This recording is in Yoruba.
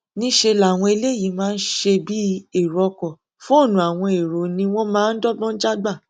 níṣẹ làwọn eléyìí máa ṣe bíi ẹrọ ọkọ fóònù àwọn ẹrọ ni wọn máa ń dọgbọn já gbà